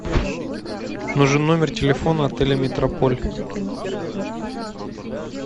нужен номер телефона отеля метрополь